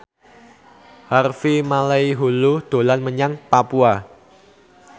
Harvey Malaiholo dolan menyang Papua